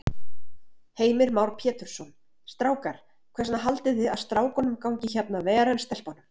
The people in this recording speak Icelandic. Heimir Már Pétursson: Strákar, hvers vegna haldið þið að strákunum gangi hérna ver en stelpunum?